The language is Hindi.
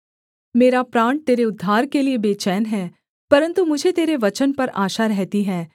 मेरा प्राण तेरे उद्धार के लिये बैचेन है परन्तु मुझे तेरे वचन पर आशा रहती है